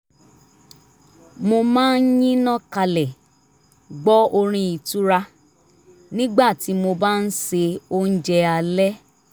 mo máa ń yínná kalẹ̀ gbọ́ orin ìtura nígbà tí mo bá ń ṣe oúnjẹ alẹ́